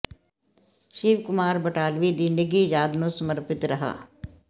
ਸ਼ਿਵ ਕੁਮਾਰ ਬਟਾਲਵੀ ਦੀ ਨਿੱਘੀ ਯਾਦ ਨੂੰ ਸਮਰਪਿਤ ਰਿਹਾ